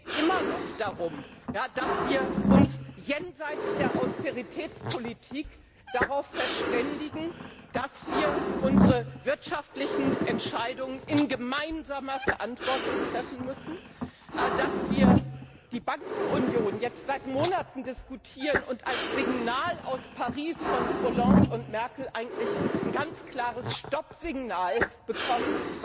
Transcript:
Es geht immer noch darum, dass wir uns jenseits der Austeritätspolitik darauf verständigen, dass wir unsere wirtschaftlichen Entscheidungen in gemeinsamer Verantwortung treffen müssen, und dass wir die Bankenunion seit Monaten diskutieren und als Signal aus Paris von Hollande und Merkel eigentlich ein ganz klares Stoppsignal bekommen.